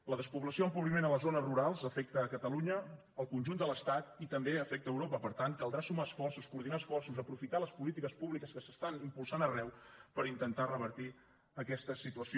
la despoblació o empobriment a les zones rurals afecta catalunya el conjunt de l’estat i també afecta europa per tant caldrà sumar esforços coordinar esforços aprofitar les polítiques públiques que s’estan impulsant arreu per intentar revertir aquesta situació